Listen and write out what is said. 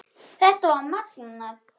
Þetta var magnað.